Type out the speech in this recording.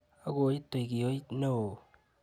Akoi itui kiooit noo.